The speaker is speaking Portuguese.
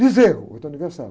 bezerro, outro universal.